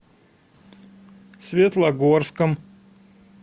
светлогорском